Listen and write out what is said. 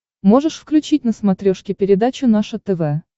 можешь включить на смотрешке передачу наше тв